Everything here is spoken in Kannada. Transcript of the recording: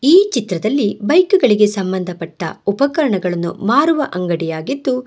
ಈ ಚಿತ್ರದಲ್ಲಿ ಬೈಕ್ ಗಳಿಗೆ ಸಂಬಂಧ ಪಟ್ಟ ಉಪಕರಣಗಳನ್ನು ಮಾರುವ ಅಂಗಡಿ ಆಗಿದ್ದು--